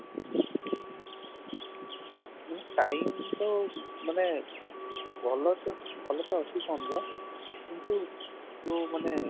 ହୁଁ time ତ ମାନେ ଭଲ ତ ଭଲ ତ ଅଛି phone ର କିନ୍ତୁ ଯଉମାନେ